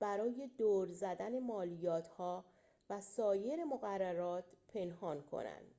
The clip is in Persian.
برای دور زدن مالیات‌ها و سایر مقررات پنهان کنند